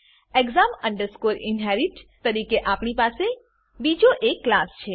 exam inherit તરીકે અહીં આપણી પાસે બીજો એક ક્લાસ છે